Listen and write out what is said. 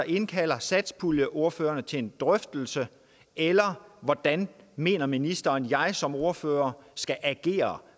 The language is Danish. indkalder satspuljeordførerne til en drøftelse eller hvordan mener ministeren at jeg som ordfører skal agere